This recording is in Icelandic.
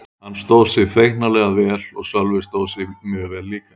Hann stóð sig feiknarlega vel og Sölvi stóð sig mjög vel líka.